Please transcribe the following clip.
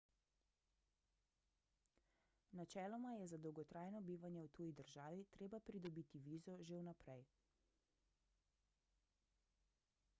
načeloma je za dolgotrajno bivanje v tuji državi treba pridobiti vizo že vnaprej